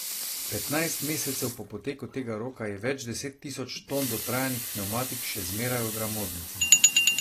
Petnajst mesecev po poteku tega roka je več deset tisoč ton dotrajanih pnevmatik še zmeraj v gramoznici.